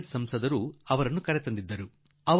ಅಲಿಘಡದ ಸಂಸದರು ಅವರನ್ನು ಕರೆದುಕೊಂಡು ಬಂದಿದ್ದರು